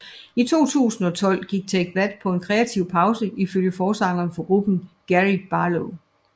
I 2012 gik Take That på en kreativ pause ifølge forsangeren for gruppen Gary Barlow